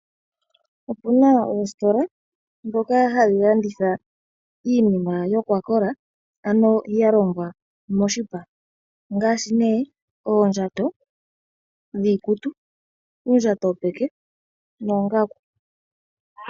Opuna oositola ndhoka hadhi landitha iinima yokwakola ano ya longwa moshipa ngaashi oondjato dhiikutu, dhopeke noongaku.